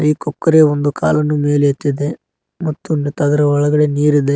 ಈ ಕೊಕ್ಕರೆ ಒಂದು ಕಾಲನ್ನು ಮೇಲೆ ಎತ್ತಿದೆ ಮತ್ ಅದರ ಒಳಗಡೆ ನೀರಿದೆ.